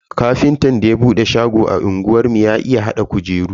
Ƙafintan da ya bude shago a unguwar mu ya iya hada kujeru.